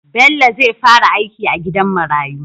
Bello zai fara aiki a gidan marayu